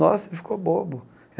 Nossa, ficou bobo.